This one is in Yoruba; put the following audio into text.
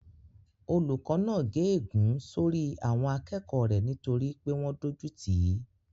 Olùkó náà gé ègún sórí àwọn akẹ́kọ̀ọ́ rẹ̀ nítorí pé wọ́n dójú tìí